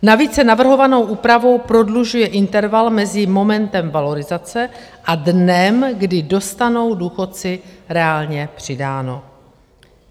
Navíc se navrhovanou úpravou prodlužuje interval mezi momentem valorizace a dnem, kdy dostanou důchodci reálně přidáno.